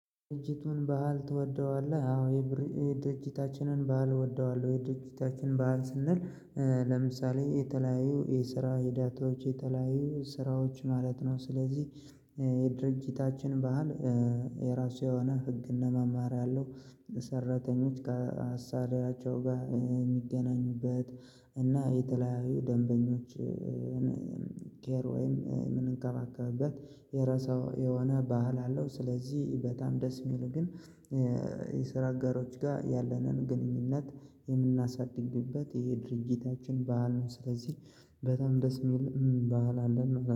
ድርጅቱን ባህል ትወደዋለህ? አው የድርጅታችንን ባህል እወደዋለሁ የድርጅታችን ባህል ስንል ለምሳሌ የተለያዩ የስራ ሂዳቶች የተለያዩ ስራዎች ማለት ነው ስለዚህ። ባህል የራሱ የሆነ ህግና መማሪያ ያለው ሰራተኞች ከአሳሪያቸው ጋር የሚገናኙበት እና የተለያዩ ደንበኞች ኬር ወይም የምንከባከበበት የረሳው የሆነ ባህል አለው። ስለዚህ በጣም ደስ የሚል ግን የሰራ ጋሮች ጋር ያለንን ግንኙነት የምናሳድግበት ይሄ ድርጊታችን ባህል ነው። ስለዚህ በጣም ደስ የሚል ባህል አለን